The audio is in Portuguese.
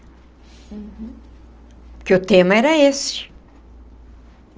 Uhum. Porque o tema era esse.